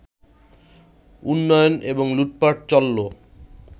উন্নয়ন এবং লুটপাট চলল